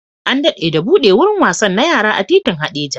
An dade da buɗe wurin wasan na yara a titin Hadeja